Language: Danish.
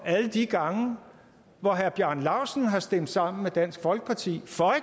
alle de gange hvor herre bjarne laustsen har stemt sammen med dansk folkeparti for